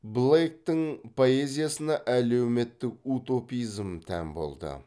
блейктің поэзиясына әлеуметтік утопизм тән болды